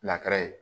ye